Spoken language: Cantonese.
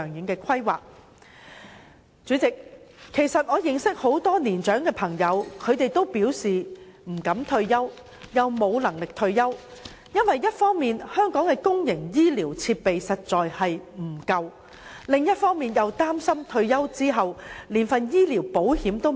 代理主席，我認識很多年長的朋友，他們都表示不敢退休，亦無能力退休，因為一方面香港的公營醫療設施確實不足，另一方面又擔心退休後連醫療保險也沒有。